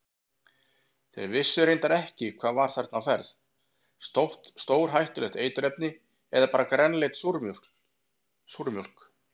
Þeir vissu reyndar ekki hvað var þarna á ferð, stórhættuleg eiturefni eða bara grænleit súrmjólk?